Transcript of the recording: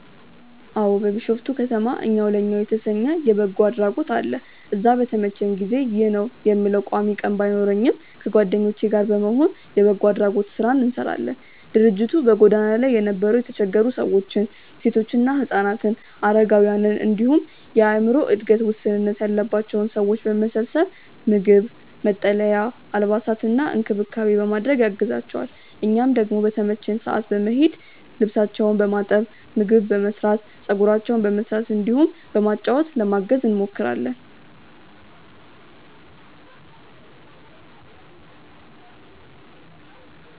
አዎ። ቢሾፍቱ ከተማ እኛው ለእኛው የተሰኘ የበጎ አድራጎት አለ። እዛ በተመቸኝ ጊዜ (ይህ ነው የምለው ቋሚ ቀን ባይኖረኝም) ከጓደኞቼ ጋር በመሆን የበጎ አድራጎት ስራ እንሰራለን። ድርጅቱ በጎዳና ላይ የነበሩ የተቸገሩ ሰዎችን፣ ሴቶችና ህፃናትን፣ አረጋውያንን እንዲሁም የአዕምሮ እድገት ውስንነት ያለባቸውን ሰዎች በመሰብሰብ ምግብ፣ መጠለያ፣ አልባሳትና እንክብካቤ በማድረግ ያግዛቸዋል። እኛም ደግሞ በተመቸን ሰዓት በመሄድ ልብሳቸውን በማጠብ፣ ምግብ በመስራት፣ ፀጉራቸውን በመስራት እንዲሁም በማጫወት ለማገዝ እንሞክራለን።